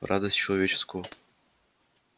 радость человеческого